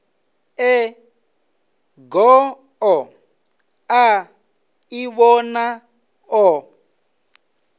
e goo a ḓivhona o